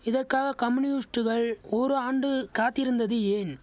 இதக்காக கம்யூனிஸ்ட்டுகள் ஒரு ஆண்டு காத்திருந்தது ஏன்